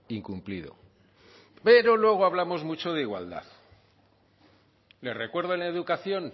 incumplido pero luego hablamos mucho de igualdad le recuerdo en educación